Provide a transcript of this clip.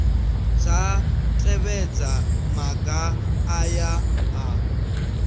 dza tevhedza maga aya a